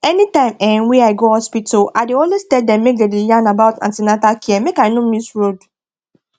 anytime um wey i go hospital i dey always tell dem make dey yarn about an ten atal care make i no miss road